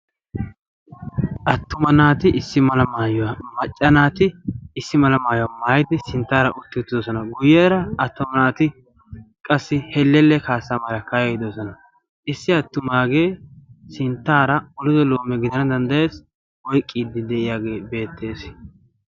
Attuma nati issi mala maayuwa macca naati isi mala maayidi utidosona, atumma naati eqqidonsona, issi atumaage helelluwa kaa'iidi de'ees, atuma nati olido loomiya oyqqidosona.